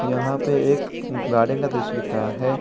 यहां पे एक गार्डेन का दृश्य दिख रहा है।